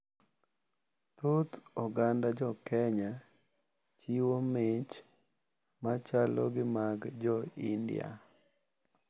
Thoth oganda jokenya chiwo mich machalo gi mag jo India.